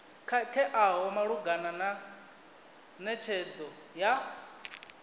khakheaho malugana na netshedzo ya